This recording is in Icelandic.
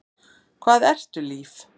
Hvað ertu líf?